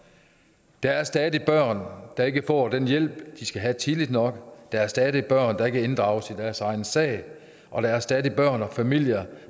der er stadig børn der ikke får den hjælp de skal have tidligt nok der er stadig børn der ikke inddrages i deres egen sag og der er stadig børn og familier